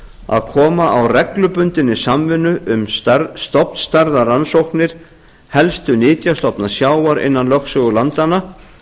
að koma á reglubundinni samvinnu um stofnstærðarrannsóknir helstu nytjastofna sjávar innan lögsögu landanna